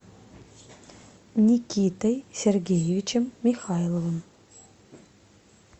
никитой сергеевичем михайловым